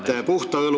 Aeg on täis.